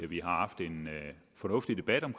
har haft en fornuftig debat om